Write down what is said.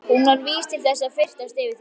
Hún var vís til þess að fyrtast yfir því.